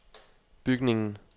bygningen